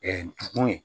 kun ye